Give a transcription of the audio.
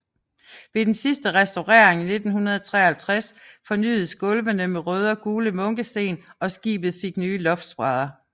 Ved den sidste restaurering 1953 fornyedes gulvene med røde og gule munkesten og skibet fik nye loftsbrædder